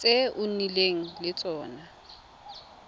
tse o nnileng le tsone